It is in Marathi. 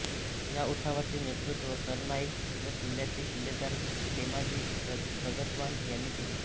या उठावाचे नेतृत्व सरनाईक व किल्ल्याचे किल्लेदार खेमाजी रघतवान यांनी केले